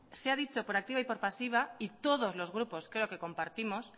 se ha dicho por activa y por pasiva y todos los grupos creo que compartimos